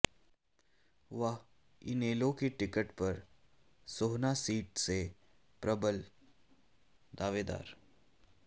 वह इनेलो की टिकट पर सोहना सीट से प्रबल दावेदार